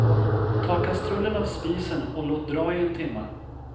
Ta kastrullen av spisen och låt dra i en timma.